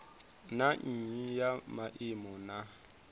na nnyi ya maimo na